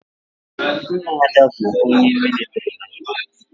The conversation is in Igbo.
Nna Ada bụ onye mịlịtrị na mbụ